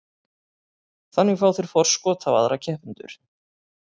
Þannig fá þeir forskot á aðra keppendur.